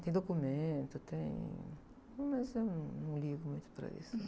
Tem documento, tem... Mas eu num, não ligo muito para isso.